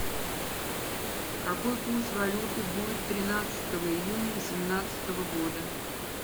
какой курс валюты будет тринадцатого июня восемнадцатого года